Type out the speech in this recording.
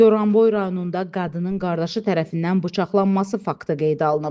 Goranboy rayonunda qadının qardaşı tərəfindən bıçaqlanması faktı qeydə alınıb.